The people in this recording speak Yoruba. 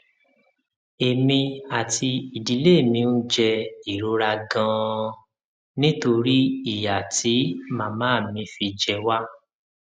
èmi àti ìdílé mi ń jẹ jẹ ìrora ganan nítorí ìyà tí màmá mi fi jẹ wá